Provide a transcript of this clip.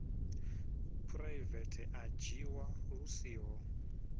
phuraivethe a dzhiwa lu siho